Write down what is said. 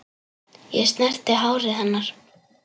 Ég snerti hárið hennar.